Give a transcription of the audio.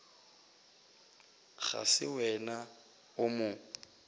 ga se wena o mo